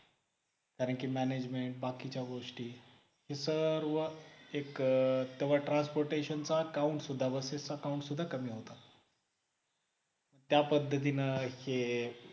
कारण कि management बाकीच्या गोष्टी हे सर्व एक तवा transportation चा account सुद्धा busses account सुद्धा कमी होता त्या पद्धतीने